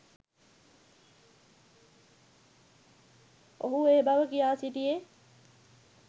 ඔහු ඒ බව කියා සිටියේ